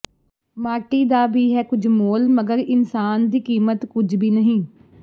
ਮਾਟੀ ਕਾ ਭੀ ਹੈ ਕੁਛ ਮੋਲ ਮਗਰ ਇਨਸਾਨ ਕੀ ਕੀਮਤ ਕੁਛ ਭੀ ਨਹੀਂ